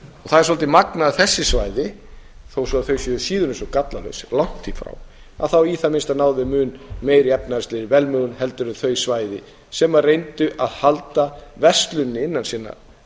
það er svolítið magnað að þessi svæði þó svo að þau séu síður en svo gallalaus langt í frá að þá í það minnsta náðu þau mun meiri efnahagslegri velmegun heldur en þau svæði sem reyndu að halda versluninni innan sinna